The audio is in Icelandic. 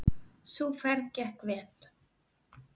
Sú ferð gekk vel.